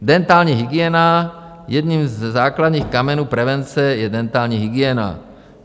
Dentální hygiena - jedním ze základních kamenů prevence je dentální hygiena.